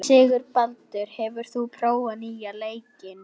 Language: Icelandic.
Sigurbaldur, hefur þú prófað nýja leikinn?